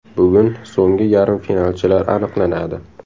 Bugun so‘nggi yarim finalchilar aniqlanadi.